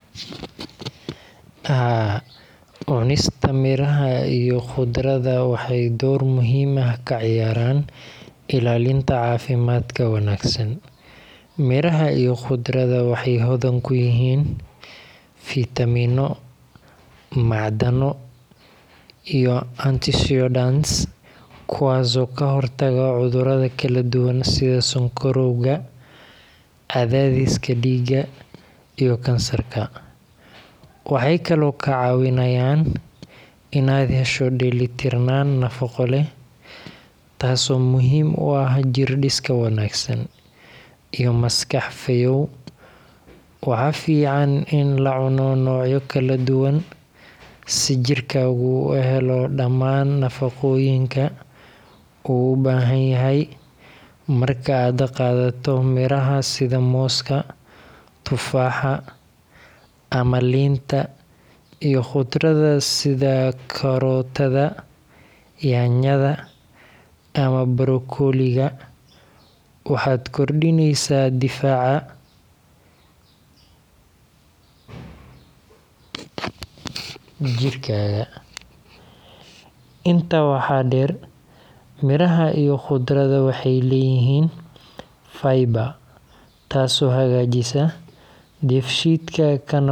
Haa, cunista miraha iyo khudradda waxay door muhiim ah ka ciyaaraan ilaalinta caafimaadka wanaagsan. Miraha iyo khudradda waxay hodan ku yihiin fiitamiino, macdano, iyo antioxidants kuwaas oo ka hortaga cudurrada kala duwan sida sonkorowga, cadaadiska dhiigga, iyo kansarka. Waxay kaloo kaa caawinayaan inaad hesho dheellitirnaan nafaqo leh, taasoo muhiim u ah jir dhis wanaagsan iyo maskax fayoow. Waxaa fiican in la cuno noocyo kala duwan si jirkaagu u helo dhammaan nafaqooyinka uu u baahan yahay. Marka aad qaadato miraha sida mooska, tufaaxa, ama liinta, iyo khudradda sida karootada, yaanyada, ama brokoli-ga, waxaad kordhinaysaa difaaca jirkaaga. Intaa waxaa dheer, miraha iyo khudradda waxay leeyihiin fiber taasoo hagaajisa dheefshiidka, kana hortagta.